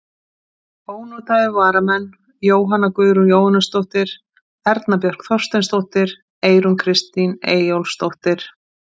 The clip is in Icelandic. Ónotaðir varamenn: Jóhanna Guðrún Jóhannesdóttir, Erna Björk Þorsteinsdóttir, Eyrún Kristín Eyjólfsdóttir.